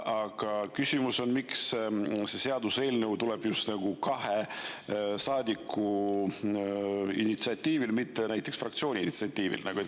Aga küsimus on, miks see seaduseelnõu tuleb just nagu kahe saadiku initsiatiivil, mitte näiteks fraktsiooni initsiatiivil.